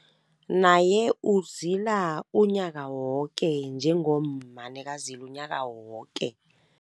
Naye uzila unyaka woke, njengomma nekazilu unyaka woke.